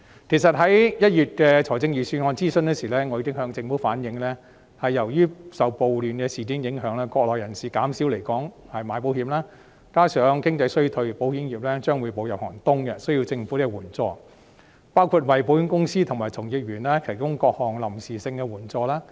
其實，在1月的預算案諮詢時，我已經向政府反映，由於受暴亂事件的影響，國內人士減少來港購買保險，加上經濟衰退，保險業將會步入寒冬，需要政府援助，包括為保險公司和從業員提供各項臨時性的援助。